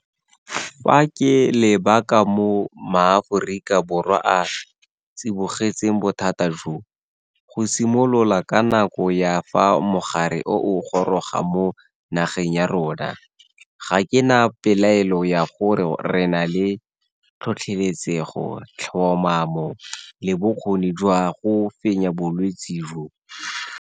Fa ke leba ka moo Maaforika Borwa a tsibogetseng bothata jo, go simolola ka nako ya fa mogare o o goroga mo nageng ya rona, ga ke na pelaelo ya gore re na le tlhotlheletsego, tlhomamo le bokgoni jwa go fenya bolwetse jo.